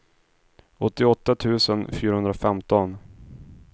åttioåtta tusen fyrahundrafemton